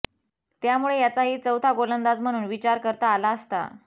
त्यामुळे त्याचाही चौथा गोलंदाज म्हणून विचार करता आला असता